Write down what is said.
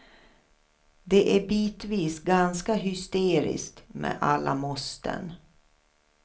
Det är bitvis ganska hysteriskt med alla måsten.